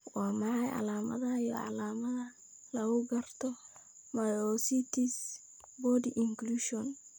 Waa maxay calaamadaha iyo calaamadaha lagu garto myositis body inclusion?